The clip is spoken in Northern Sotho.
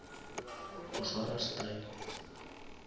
o swara style